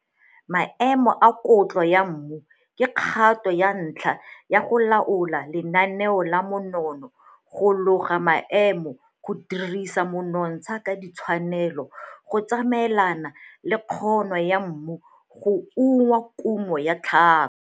Maemo a kotlo ya mmu ke kgato ya ntlha ya go laola lenaneo la monono go loga maano go dirisa monotsha ka tshwanelo go tsamaelana le kgono yam mu go uma kumo ya tlhaka.